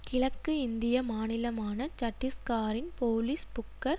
கிழக்கு இந்திய மாநிலமான சட்டிஸ்காரின் போலிஸ் புக்கர்